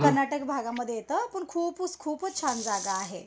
कर्नाटक भागामध्ये येतं. पण खूपुस खूपच छान जागा आहे.